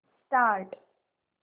start